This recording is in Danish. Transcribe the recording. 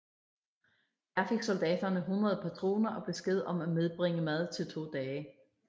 Der fik soldaterne 100 patroner og besked om at medbringe mad til to dage